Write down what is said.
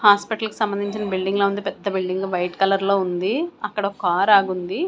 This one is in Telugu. హాస్పిటల్ కి సంబంధించిన బిల్డింగ్ ల ఉంది పెద్ద బిల్డింగ్ వైట్ కలర్ లో ఉంది అక్కడ ఒక కార్ ఆగి ఉంది.